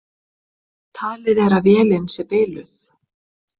Talið er að vélin sé biluð